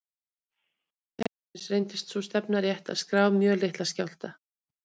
Við hönnun kerfisins reyndist sú stefna rétt að skrá mjög litla skjálfta.